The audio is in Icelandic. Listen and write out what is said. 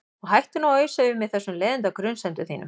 Og hættu nú að ausa yfir mig þessum leiðinda grunsemdum þínum.